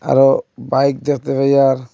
আরও বাইক দেখতে পাই আর--